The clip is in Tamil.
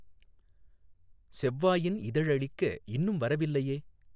செவ்வாயின் இதழளிக்க இன்னும் வர விலையே!